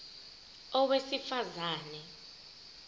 a owesifaz ane